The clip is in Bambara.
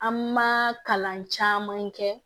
An ma kalan caman kɛ